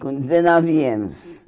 Com dezenove anos.